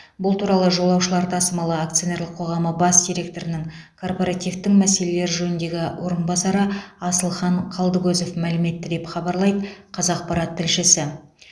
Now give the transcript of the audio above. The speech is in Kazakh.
бұл туралы жолаушылар тасымалы акционерлік қоғамы бас директорының корпоративтің мәселелер жөніндегі орынбасары асылхан қалдыкозов мәлім етті деп хабарлайды қазақпарат тілшісі